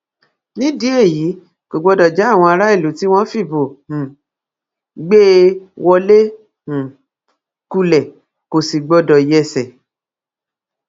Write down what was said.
nídìí èyí kò gbọdọ já àwọn aráàlú tí wọn fìbò um wọn gbé e wọlé um kulẹ kó sì gbọdọ yẹsẹ